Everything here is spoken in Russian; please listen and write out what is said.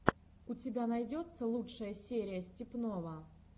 у тебя найдется лучшая серия степного